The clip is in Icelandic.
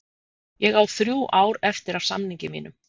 Ég á þrjú ár eftir af samningi mínum.